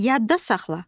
Yadda saxla.